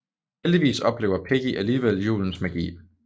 Heldigvis oplever Piggy alligevel julens magi